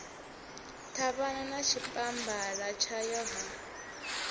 ṱhavhana na tshipambala tshayo ha